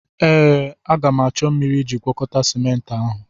Ee, a ga m achọ mmiri iji gwakọta ciment ahụ.